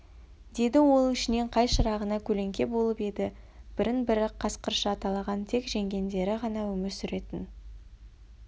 деді ол ішінен қай шырағына көлеңке болып еді бірін-бірі қасқырша талаған тек жеңгендері ғана өмір сүретін